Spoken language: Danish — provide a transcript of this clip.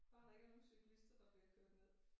Bare der ikke er nogen cyklister der bliver kørt ned